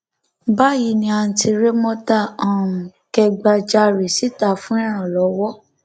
báyìí ni aunti remota um kẹgbajarè síta fún ìrànlọwọ